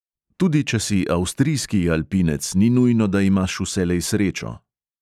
Tudi če si avstrijski alpinec, ni nujno, da imaš vselej srečo.